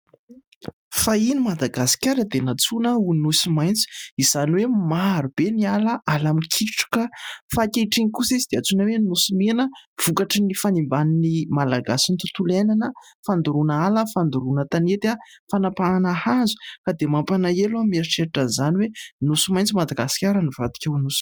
Fahiny Madagasikara dia natsoina ho nosy maitso izany hoe : marobe ny ala, ala mikitroka; fa ankehitriny kosa izy dia atsoina hoe : nosy mena, vokatry ny fanimban'ny malagasy ny tontolo iainana, fandoroana ala, fandoroana tanety , fanapahana hazo, ka dia mampalahelo ny mieritreritra an'izany hoe : nosy maitso Madagasikara nivadika ho nosy mena.